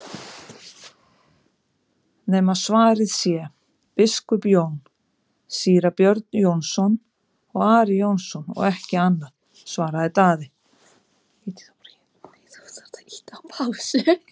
nema svarað sé:-Biskup Jón, Síra Björn Jónsson og Ari Jónsson og ekki annað, svaraði Daði.